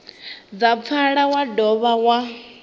dza pfala wa dovha wa